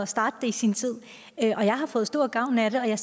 starte det i sin tid jeg har fået stor gavn af det og jeg